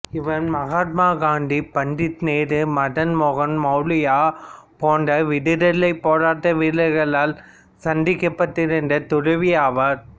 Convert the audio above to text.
இவர் மகாத்மா காந்தி பண்டித நேரு மதன்மோகன் மாளவியா போன்ற விடுதலைப்போராட்ட வீரர்களால் சந்திக்கப்பட்டிருந்த துறவி ஆவார்